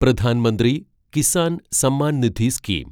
Pradhan Mantri Kisan Samman Nidhi scheme